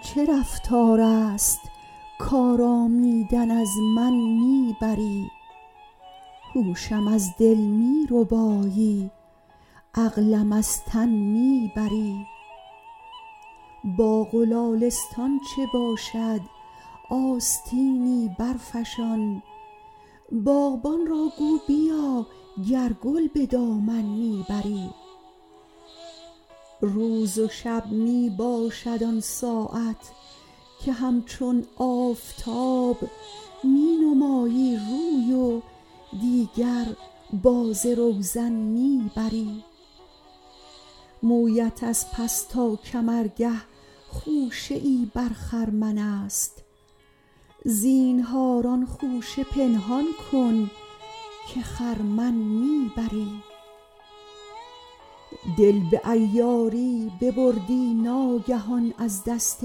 این چه رفتار است کآرامیدن از من می بری هوشم از دل می ربایی عقلم از تن می بری باغ و لالستان چه باشد آستینی برفشان باغبان را گو بیا گر گل به دامن می بری روز و شب می باشد آن ساعت که همچون آفتاب می نمایی روی و دیگر باز روزن می بری مویت از پس تا کمرگه خوشه ای بر خرمن است زینهار آن خوشه پنهان کن که خرمن می بری دل به عیاری ببردی ناگهان از دست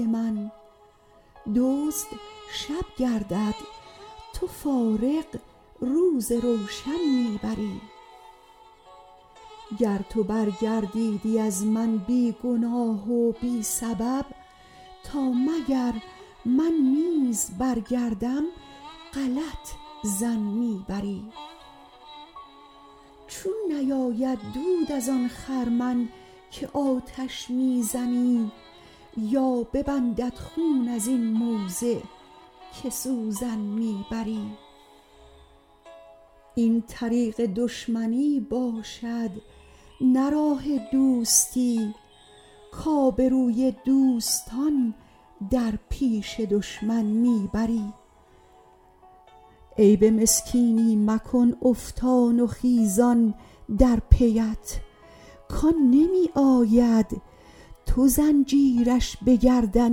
من دزد شب گردد تو فارغ روز روشن می بری گر تو برگردیدی از من بی گناه و بی سبب تا مگر من نیز برگردم غلط ظن می بری چون نیاید دود از آن خرمن که آتش می زنی یا ببندد خون از این موضع که سوزن می بری این طریق دشمنی باشد نه راه دوستی کآبروی دوستان در پیش دشمن می بری عیب مسکینی مکن افتان و خیزان در پی ات کآن نمی آید تو زنجیرش به گردن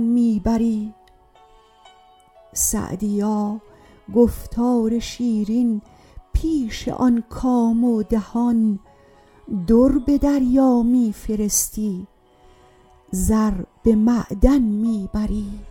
می بری سعدیا گفتار شیرین پیش آن کام و دهان در به دریا می فرستی زر به معدن می بری